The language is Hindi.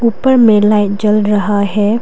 ऊपर में लाइट जल रहा है।